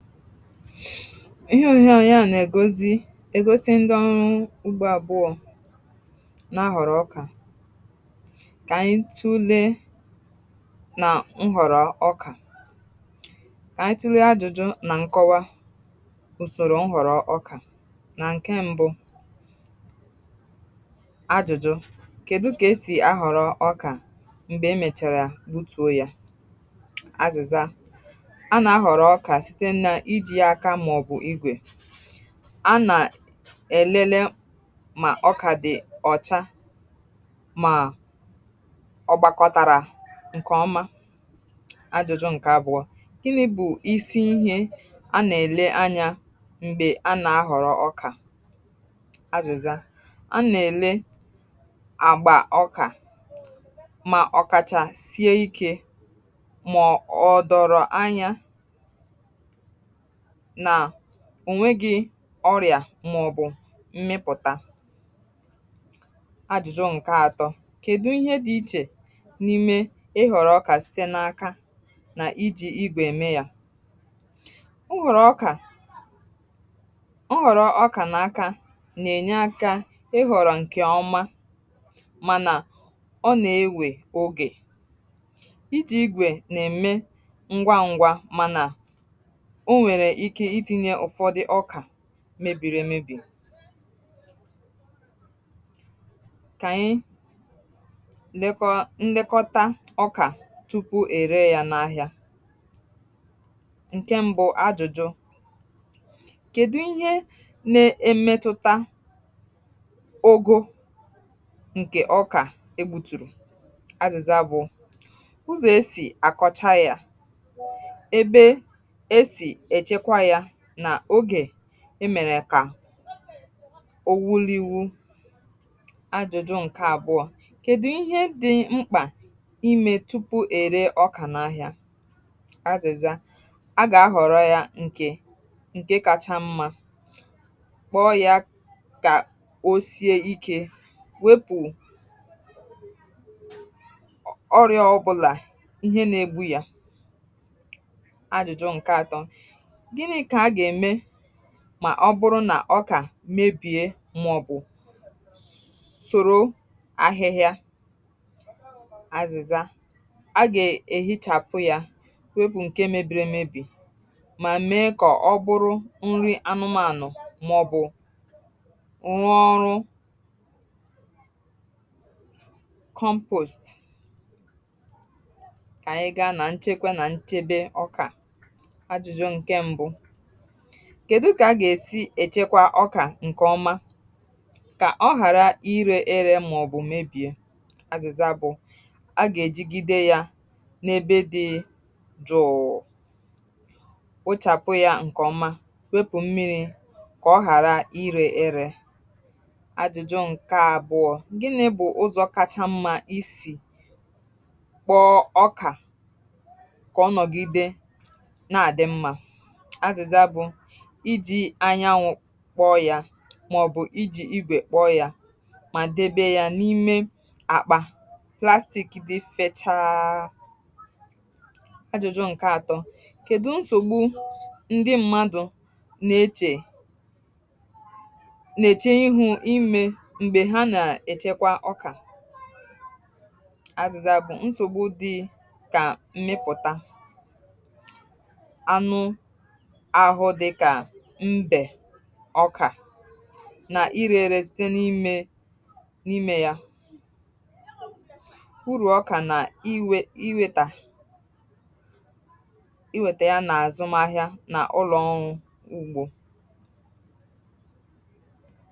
um Ihè òhịa òhịa nà-ègosi ègosi, ndị ọrụ ugbȯ àbụọ nà-ahọ̀rọ̀ ọkà. Kà anyị̀ tùle nà nhọ̀rọ̀ ọkà. Kà anyị̀ tùle àjụ̀jụ̀ nà ǹkọwa ùsòrò nhọ̀rọ̀ ọkà. Nà ǹke mbụ̇ àjụ̀jụ̀, kèdu kà esì ahọ̀rọ̀ ọkà? um M̀gbè emèchàrà, butùo yȧ azụ̀zȧ. A nà-èlele mà ọkà dị̀ ọ̀cha, màọ̀ọ̀ gbakọtàrà ǹkèọma. Ajọ̇jọ̇ ǹkè abụọ: i li bụ̀ isi ihe a nà-èle anyȧ m̀gbè a nà-ahọ̀rọ̀ ọkà. Ajụ̀zȧ, a nà-èle àgbà ọkà, mà ọ̀kàchà sie ikė, mà ọ dọrọ anyȧ nà ònweghi ọrịà màọbụ̀ mmịpụ̀ta... Ajụ̀jụ̀ ǹkè atọ kèdu ihe dị̇ ichè n’ime ịhọ̀rọ̀ ọkà site n’aka nà ijì igwè eme ya? Ọ họ̀rọ̀ ọkà n’aka nà-ènye akȧ, ị họ̀rọ̀ ǹkè ọma, mànà ọ nà-ewè ogè. um Ijì igwè nà-èmè ngwa ngwȧ, mànà mebìri èmebìe. Kà-ànyị lekọta ọkà tupu è ree ya n’ahịa. Ǹkè mbụ um àjụ̀jụ̀, kèdu ihe na-emetụta ogȯ ǹkè ọkà e gbùtùrù? Àzịza bụ̀ ụzọ̀ esì àkọcha ya emèrè kà ọ wụ̀lụ̀mụ̀... Àjụ̀jụ̀ ǹkè àbụọ kèdụ ihe dị mkpà imė tupu ère ọkà n’ahịa? Àzịza: a gà-ahọ̀rọ ya nkè nkè kacha mmȧ, kpọ um ya kà o sie ikė, wepụ ọrịọ, ọkpụ̇lȧ, ihe nà-egbu ya. Mà ọ bụrụ nà ọkà mebie, m̀mụ̀bụ̀ sòro ahịhịa. Àzịza: a gà èhi chàpụ̀ ya, wepụ̀ ǹkè mebìrì emebì, mà mee kà ọ bụrụ nri anụmȧnụ̀. um M̀mụ̀bụ̀ rụọ ọrụ... kèdu kà a gà-èsi èchekwa ọkà ǹkèọma kà ọ ghàra irė ere màọbụ̀ mebìe? Àzịza bụ̀: a gà-èjigide ya n’ebe dị jụ̀ụ̀, wụchàpụ ya ǹkèọma, wepù mmi̇ri̇ kà ọ ghàra irė ere. Àjụ̀jụ ǹkè àbụ̀ọ gịnị bụ̀ ụzọ kacha mma isì kpọọ ọkà kà ọnọ̀gide na-àdị mma? Àzụzà bụ̀: iji anyanwụ̀ kpọọ yȧ, màọbụ̀ iji igwè kpọọ yȧ, mà debe ya n’ime akpà plastik dị fechaa um Àjụ̀jụ̀ ǹkè atọ̀ kedù nsògbu ndị mmadụ̀ nà-eche ihu imė m̀gbè ha nà-èchekwa ọkà? Àzụzà bụ̀: nsògbu dị kà mmịpụ̀ta ọkà n’irė ere, site n’imė n’imė yȧ. Urù ọkà nà iwe, iwètà iwètà ya n’àzụmàhị̀a, n’ụlọ̀ọṅụ̀ ugbȯ.